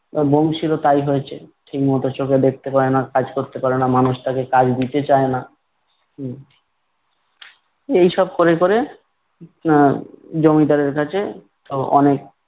আর বংশীরও তাই হয়েছে ঠিকমত চোখে দেখতে পায় না, কাজ করতে পারে না মানুষ তাকে কাজ দিতে চায় না। হম এইসব করে করে আহ জমিদারের কাছে অ~ অনেক